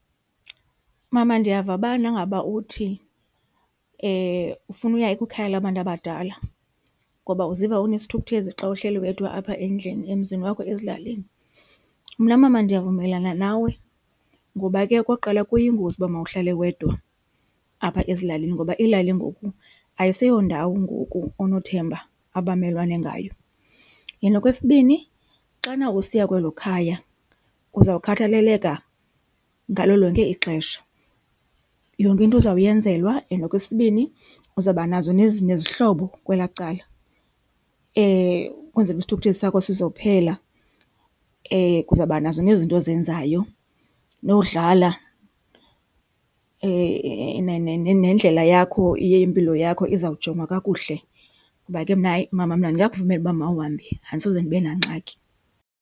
Mama, ndiyava ubana ngaba uthi ufuna uya kwikhaya labantu abadala ngoba uziva unesithukuthezi xa uhleli wedwa apha endlini emzini wakho ezilalini. Mna, mama, ndiyavumelana nawe ngoba ke okokuqala kuyingozi ukuba mawuhlalwe wedwa apha ezilalini ngoba iilali ngoku ayiseyondawo ngoku onothemba abamelwane ngayo. Then okwesibini, xana usiya kwelo khaya uzawukhathaleleka ngalo lonke ixesha. Yonke into uzawuyenzelwa and okwesibini uzawuba nazo nezihlobo kwelaa cala ukwenzela uba isithukuthezi sakho sizophela. Uzawuba nazo nezinto ozenzayo, nowudlala, nendlela yakho yempilo yakho izawujongwa kakuhle. Ngoba ke mna hayi mama mna ndingakuvumela uba mawuhambe andisoze ndibe nangxaki.